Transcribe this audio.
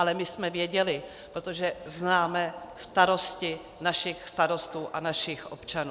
Ale my jsme věděli, protože známe starosti našich starostů a našich občanů.